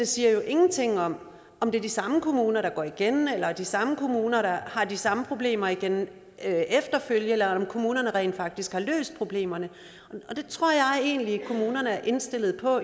siger jo ingenting om om det er de samme kommuner der går igen eller er de samme kommuner der har de samme problemer igen efterfølgende eller om nogle kommuner rent faktisk har løst problemerne og det tror jeg egentlig kommunerne er indstillet på